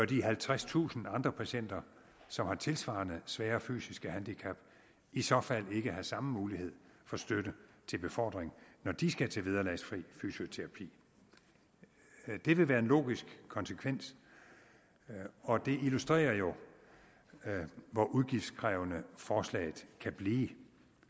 de halvtredstusind andre patienter som har tilsvarende svære fysiske handicap i så fald også bør have samme mulighed for støtte til befordring når de skal til vederlagsfri fysioterapi det vil være en logisk konsekvens og det illustrerer jo hvor udgiftskrævende forslaget kan blive